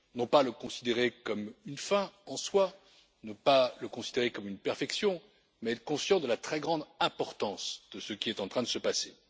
Non pas le considérer comme une fin en soi, non pas le considérer comme une perfection, mais être conscient de la très grande importance de ce qui est en train de se passer.